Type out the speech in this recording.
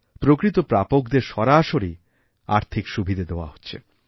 প্রকৃত প্রাপকদের সরাসরি আর্থিক সুবিধা দেওয়া হচ্ছে